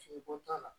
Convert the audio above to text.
Fini ko t'a la